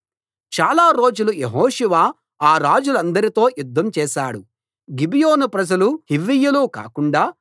చాలా రోజులు యెహోషువ ఆ రాజులందరితో యుద్ధం చేసాడు గిబియోను ప్రజలూ హివ్వీయులూ కాకుండా